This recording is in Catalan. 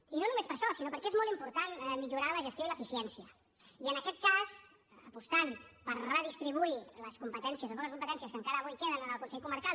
i no només per això sinó perquè és molt important millorar la gestió i l’eficiència i en aquest cas apostant per redistribuir les competències les poques competències que encara avui queden en el consell comarcal